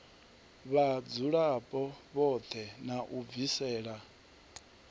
vhadzulapo vhoṱhe na u bvisela